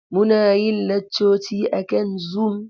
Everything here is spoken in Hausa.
Muna yin laccoci akan Zoom.